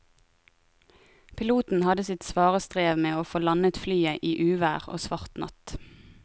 Piloten hadde sitt svare strev med å få landet flyet i uvær og svart natt.